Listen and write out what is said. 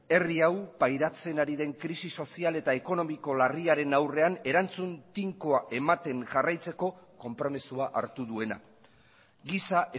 herri hau pairatzen ari den krisi sozial eta ekonomiko larriaren aurrean erantzun tinkoa ematen jarraitzeko konpromisoa hartu duena giza